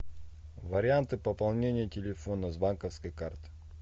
варианты пополнения телефона с банковской карты